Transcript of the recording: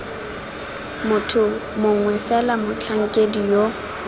motho mongwe fela motlhankedi yo